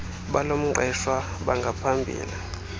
bal mqeshwa bangaphambili